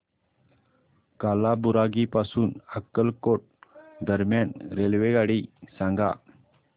कालाबुरागी पासून अक्कलकोट दरम्यान रेल्वेगाडी सांगा